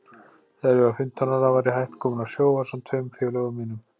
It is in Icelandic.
Þegar ég var fimmtán ára var ég hætt kominn á sjó ásamt tveim félögum mínum.